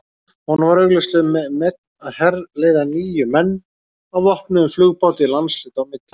Honum var augljóslega um megn að herleiða níu menn á vopnuðum flugbáti landshluta á milli.